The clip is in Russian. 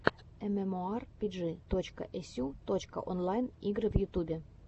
эмэмоарпиджи точка эсю точка онлайн игры в ютюбе